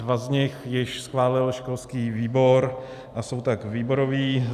Dva z nich již schválil školských výbor, a jsou tak výborové.